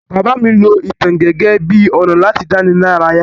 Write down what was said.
Bàbá mí lo ìtàn gẹ́gẹ́ bi ọ̀nà láti dánilaraya